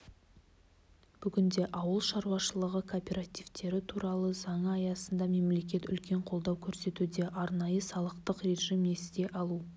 бүгінде ауыл шаруашылығы кооперативтері туралы заңы аясында мемлекет үлкен қолдау көрсетуде арнайы салықтық режим несие алу